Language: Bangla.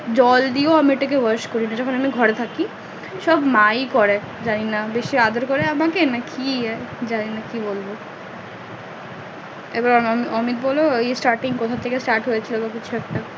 জল দিয়ে ও আমি ওটা কে wash করি না যখন আমি ঘরে থাকি সব মা ই করে জানিনা বেশি আদর করে আমাকে নাকি জানিনা কি বলবো এবার অমিত বলো starting কোথা থেকে stared হয়ে ছিল কিছু একটা